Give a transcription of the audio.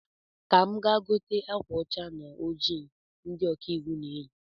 Ka m gaa gote akwa ȯcha na oji ndi ọkaiwu na-eyi